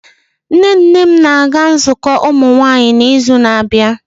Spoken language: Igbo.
Nne nne m na-aga nzukọ ụmụnwaanyị n'izu na-abịa.